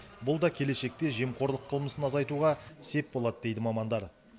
бұл да келешекте жемқорлық қылмысын азайтуға сеп болады дейді мамандар